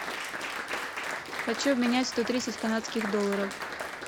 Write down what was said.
хочу обменять сто тридцать канадских долларов